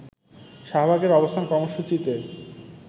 শাহবাগের অবস্থান কর্মসূচিতে